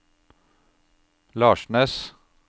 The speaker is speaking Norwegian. Larsnes